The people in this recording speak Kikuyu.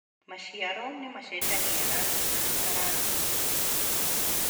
Maciaro nĩ macenjagia rangi na mũtararĩko